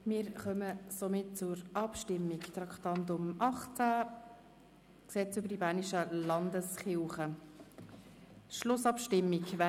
Wir kommen somit unter Traktandum 18 zur Schlussabstimmung über das LKG.